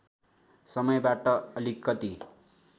समयबाट अलिकति